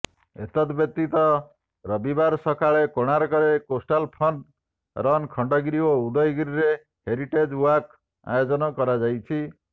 ଏତଦ୍ବ୍ୟତୀତ ରବିବାର ସକାଳେ କୋଣାର୍କରେ କୋଷ୍ଟାଲ ଫନ୍ ରନ୍ ଖଣ୍ଡଗିରି ଓ ଉଦୟଗିରିରେ ହେରିଟେଜ୍ ୱାକ୍ ଆୟୋଜନ କରାଯାଇଛି